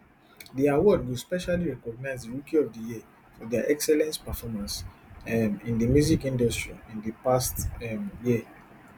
di award go specially recognise di rookie of di year for dia excellence performance um in di music industry in di past um year